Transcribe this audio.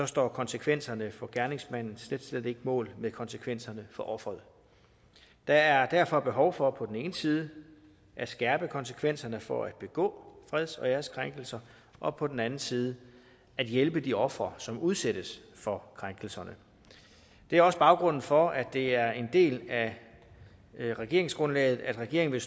står konsekvenserne for gerningsmanden slet slet ikke mål med konsekvenserne for offeret der er derfor behov for på den ene side at skærpe konsekvenserne for at begå freds og æreskrænkelser og på den anden side at hjælpe de ofre som udsættes for krænkelserne det er også baggrunden for at det er en del af regeringsgrundlaget at regeringen